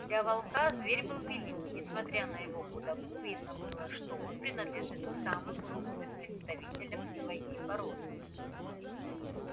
для волка зверь был велик и несмотря на его худобу видно было что он принадлежит к самым крупным представителям своей породы